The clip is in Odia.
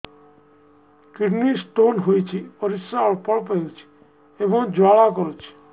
କିଡ଼ନୀ ସ୍ତୋନ ହୋଇଛି ପରିସ୍ରା ଅଳ୍ପ ଅଳ୍ପ ହେଉଛି ଏବଂ ଜ୍ୱାଳା କରୁଛି